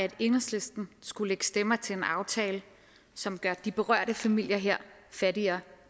at enhedslisten skulle lægge stemmer til en aftale som gør de berørte familier fattigere